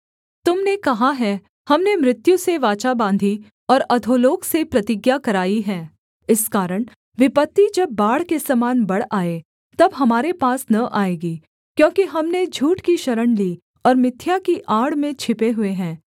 तुम ने कहा है हमने मृत्यु से वाचा बाँधी और अधोलोक से प्रतिज्ञा कराई है इस कारण विपत्ति जब बाढ़ के समान बढ़ आए तब हमारे पास न आएगी क्योंकि हमने झूठ की शरण ली और मिथ्या की आड़ में छिपे हुए हैं